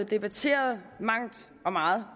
debatteret i mangt og meget